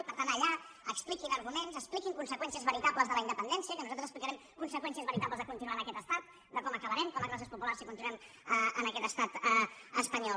i que per tant allà expliquin ar·guments expliquin conseqüències veritables de la in·dependència que nosaltres explicarem conseqüències veritables de continuar en aquest estat de com aca·barem com a classes populars si continuem en aquest estat espanyol